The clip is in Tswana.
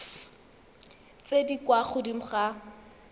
tse di kwa godimo ga